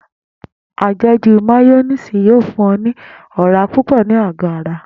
Àje̩jù máyó̩néèsì yóò fún o̩ ní ò̩rá púpò̩ ni ago ara